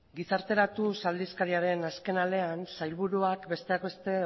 gizarteratuz aldizkariaren azken alean sailburuak besteak beste